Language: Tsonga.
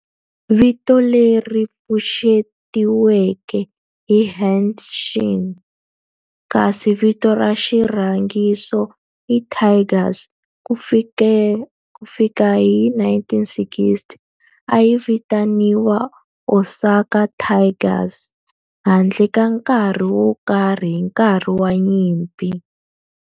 Vito leri pfuxetiweke i Hanshin kasi vito ra xirhangiso i Tigers. Ku fikela hi 1960, a yi vitaniwa Osaka Tigers handle ka nkarhi wo karhi hi nkarhi wa nyimpi.